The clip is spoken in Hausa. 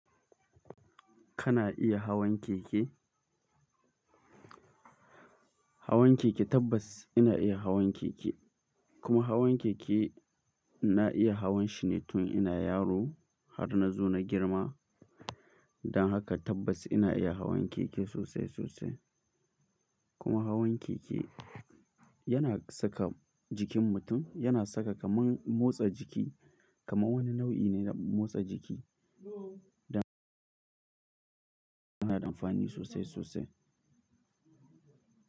Kana iya hawan keke? Hawan keke tabbas ina iya hawan keke, kuma hawan keke na iya hawan shi ne tun ina yaro har na zo na girma. Dan haka tabbas ina iya hawan keke sosai sosai. Kuma hawan keke yana saka jikin mutum, yana saka kaman motsa jiki kaman wani nau'i ne na motsa jiki. Dan haka yana da amfani sosai sosai.